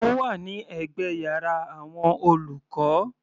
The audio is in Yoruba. Ó wà ní ẹ̀gbẹ́ yàrá àwọn olùkọ́.